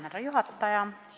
Härra juhataja!